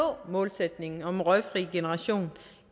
målsætningen om en røgfri generation